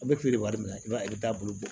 A bɛ feere wari minɛ i b'a ye i bɛ taa bolo bɔ